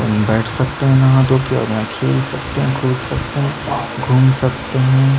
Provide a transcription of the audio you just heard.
बैठ सकते है नहा धो के और खेल सकते है कूद सकते है घूम सकते है।